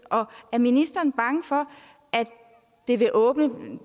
er ministeren bange for at det vil åbne